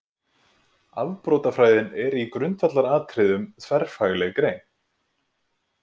Afbrotafræðin er í grundvallaratriðum þverfagleg grein.